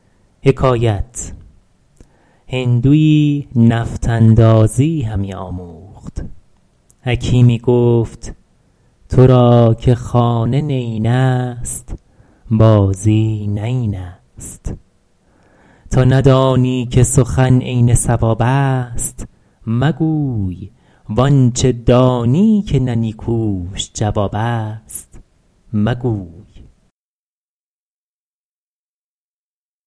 هندویی نفط اندازی همی آموخت حکیمی گفت تو را که خانه نیین است بازی نه این است تا ندانی که سخن عین صواب است مگوی وآنچه دانی که نه نیکوش جواب است مگوی